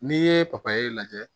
N'i ye papaye lajɛ